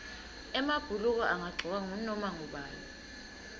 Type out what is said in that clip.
emabhuluko angagcokwa ngunoma ngubani